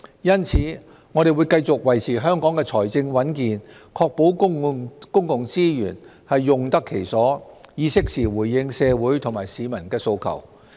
因此，我們會繼續維持香港的財政穩健，確保公共資源用得其所，以適時回應社會和市民的訴求。